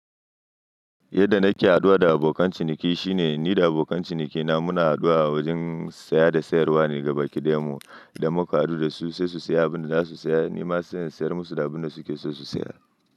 Yadda nake haɗuwa da abokan ciniki shine ni da abokan cinikina muna haɗuwa a wajen saya da sayarwa ne gaba ƙi ɗayan mu idan muka haɗu dasu sai su saya abinda zasu saya. Nima sai in sayar musu da abinda suke so su saya.